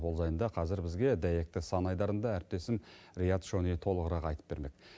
ол жайында қазір бізге дәйекті санайдарында әріптесім риат шони толығырақ айтып бермек